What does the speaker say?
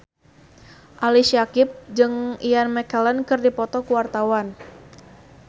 Ali Syakieb jeung Ian McKellen keur dipoto ku wartawan